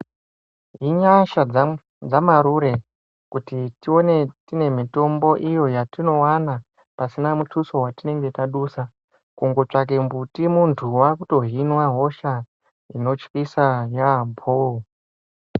Inyasha dzamarure kuti tione tine mitombo iyo yatinovana pasina mutuso vatinenge tadusa. Kungotsvake mbuti muntu vakutohinwe hosha inotyisa yaambo.